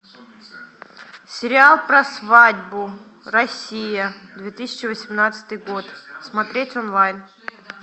сериал про свадьбу россия две тысячи восемнадцатый год смотреть онлайн